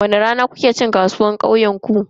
Wani rana ne kuke cin kasuwar kauyenku?